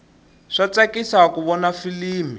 swa tsakisa ku vona filimi